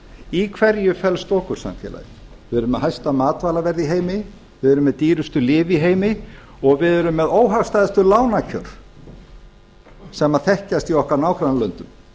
í hverju felst okursamfélag við erum með hæsta matvælaverð í heimi við erum með dýrustu lyf í heimi og við erum með óhagstæðustu lánakjör sem þekkjast í okkar nágrannalöndum